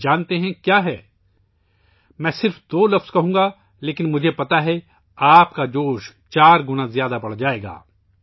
جانتے ہیں یہ کیا ہے! میں صرف دو لفظ کہوں گا لیکن مجھے معلوم ہے، آپ کا جوش چار گنا بڑھ جائے گا